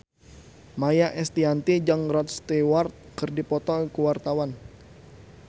Maia Estianty jeung Rod Stewart keur dipoto ku wartawan